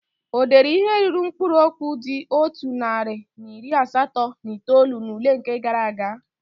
O deere ihe ruru mkpụrụ okwu dị otu narị na iri asatọ na itoolu n'ule nke gaara aga?